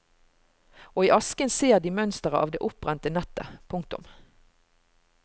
Og i asken ser de mønsteret av det oppbrente nettet. punktum